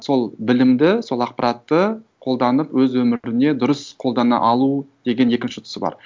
сол білімді сол ақпаратты қолданып өз өміріне дұрыс қолдана алу деген екінші тұсы бар